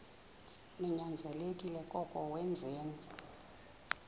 ninyanzelekile koko wenzeni